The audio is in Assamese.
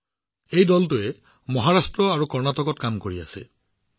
আজি এই দলটোৱে মহাৰাষ্ট্ৰ আৰু কৰ্ণাটকত কাম কৰি আছে